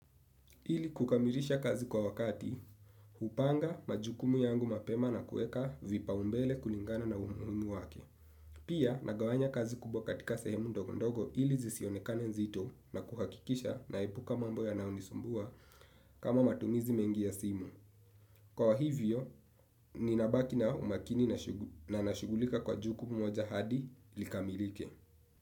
Ili kukamirisha kazi kwa wakati, hupanga majukumu yangu mapema na kueka vipa umbele kulingana na umuhimu wake. Pia nagawanya kazi kubwa katika sehemu ndogo ndogo ili zisionekane nzito na kuhakikisha naipuka mambo yanaonisumbua kama matumizi mengi ya simu. Kwa hivyo, ninabaki na umakini na nashugulika kwa jukumu moja hadi likamirike.